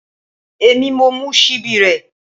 Èmi mo mú ṣíbí rẹ